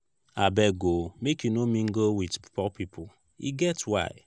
abeg o make you no mingle wit poor pipo e get why.